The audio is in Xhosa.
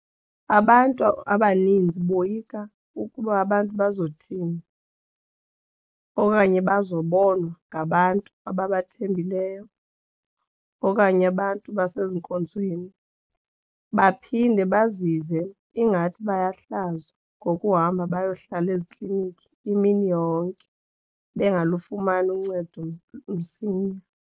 Abantu abaninzi boyika ukuba abantu bazothini okanye bazobonwa ngabantu ababathembileyo okanye abantu basezinkonzweni baphinde bazive ingathi bayahlazwa ngokuhamba bayohlala ezikliniki imini yonke bangalufumani uncedo msinya.